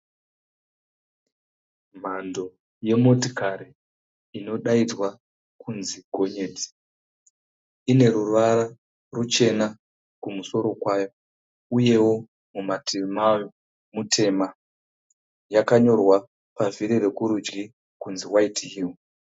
Mhando yemotikari inodaidzwa kunzi gonyeti. Ine ruvara ruchena kumusoro kwayo uyewo mumativi mayo mutema. Yakanyorwa pavhiri rokurudyi kunzi (white hill)